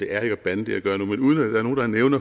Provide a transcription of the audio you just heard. er ikke at bande